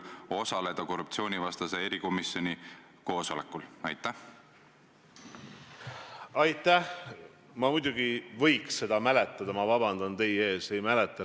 Probleem minu arust ongi selles, et te räägite väärtustest, aga me ei saa enam aru, milliste väärtuste eest te seisate.